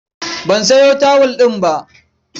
Ban sayo tawul ɗin ba.